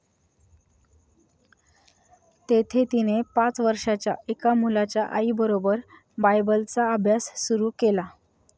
तेथे तिने पाच वर्षांच्या एका मुलाच्या आईबरोबर बायबलचा अभ्यास सुरू केला.